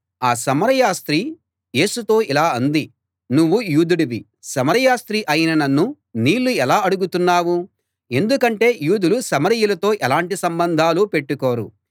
ఆ సమరయ స్త్రీ యేసుతో ఇలా అంది నువ్వు యూదుడివి సమరయ స్త్రీ అయిన నన్ను నీళ్ళు ఎలా అడుగుతున్నావు ఎందుకంటే యూదులు సమరయులతో ఎలాంటి సంబంధాలూ పెట్టుకోరు